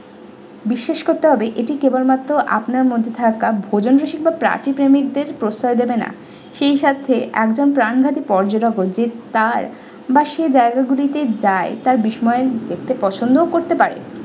বিশ্বাস করতে হবে এটি কেবল মাত্র আপনার মধ্যে থাকা ভোজন রসিক বা পার্থিব প্রেমিকদের প্রশয় দেবেনা সেই স্বার্থে একজন প্রাণঘাতি পর্যটক বলতে তার বা সেই জায়গা গুলিতে যায় তার বিস্ময়ের সে পছন্দও করতে পারে।